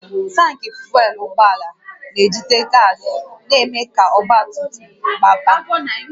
Tankị fuel ụgbọala na-ejide gas na-eme ka ọgba tum tum gbaba